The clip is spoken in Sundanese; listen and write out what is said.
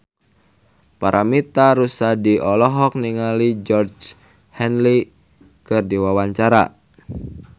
Paramitha Rusady olohok ningali Georgie Henley keur diwawancara